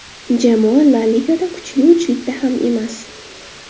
Jamoa La Ligada kuchli uchlikda ham emas.